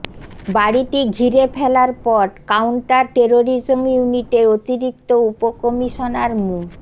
বাড়িটি ঘিরে ফেলার পর কাউন্টার টেররিজম ইউনিটের অতিরিক্ত উপকমিশনার মো